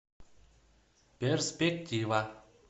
перспектива